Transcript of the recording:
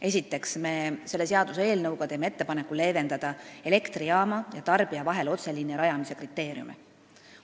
Esiteks, selle seaduseelnõuga teeme ettepaneku leevendada elektrijaama ja tarbija vahel otseliini rajamise kriteeriume.